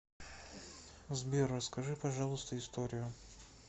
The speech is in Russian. сбер расскажи пожалуйста историю